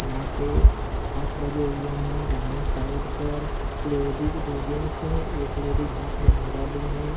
यहाँ पे काँच लगे हुए हैं | दाहिने साइड पर लेडिस दो जेन्ट्स हैं | एक लेडिस हाथ मे झोला लिए हैं ।